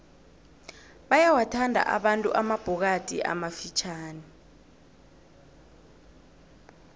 bayawathanda abantu amabhokadi amafitjhani